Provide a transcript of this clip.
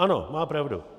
Ano, má pravdu.